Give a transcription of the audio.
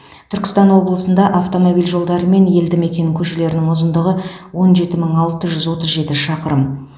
түркістан облысында автомобиль жолдары мен елді мекен көшелерінің ұзындығы он жеті мың алты жүз отыз жеті шақырым